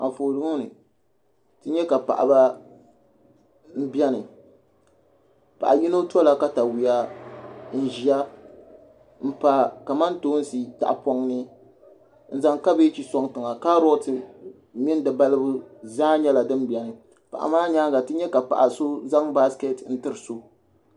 anfooni ŋɔ ni ti nya ka paɣiba m-beni paɣ' yino tɔla takayua n-ʒiya m-pa kamantoosi tahapɔŋ ni n-zaŋ kabɛji n-sɔŋ tiŋa kaarooti mini di balibu zaa nyɛla din beni paɣa maa nyaaŋa ti nya ka paɣa so zaŋ basikɛti n-tiri so